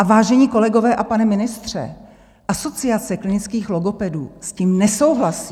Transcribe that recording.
A vážení kolegové a pane ministře, Asociace klinických logopedů s tím nesouhlasí.